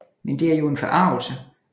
Men det er jo en forargelse